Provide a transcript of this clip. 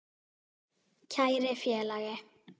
Kæri félagi.